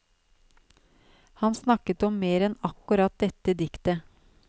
Han snakket om mer enn akkurat dette diktet.